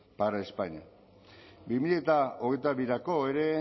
para españa bi mila hogeita birako ere